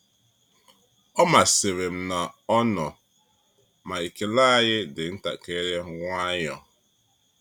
Ọ masịrị m na ọ nọ, ma ekele anyị dị ntakịrị nwayọọ.